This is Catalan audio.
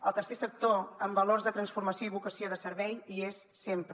el tercer sector amb valors de transformació i vocació de servei hi és sempre